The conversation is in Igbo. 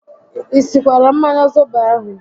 I sikwara mmanya zobo ahụ?